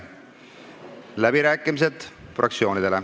Fraktsioonide läbirääkimised.